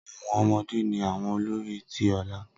Awọn ọmọde ni awọn olori ti ọla.